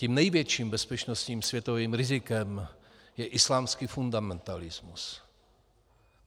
Tím největším bezpečnostním světovým rizikem je islámský fundamentalismus.